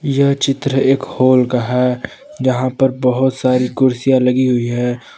यह चित्र एक हॉल का है जहां पर बहुत सारी कुर्सियां लगी हुई है।